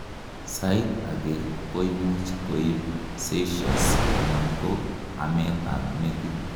sait agei koimuch koib seizures anan ko amet ab metit